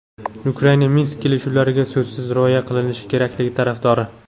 Ukraina Minsk kelishuvlariga so‘zsiz rioya qilinishi kerakligi tarafdori.